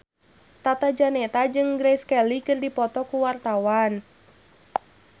Tata Janeta jeung Grace Kelly keur dipoto ku wartawan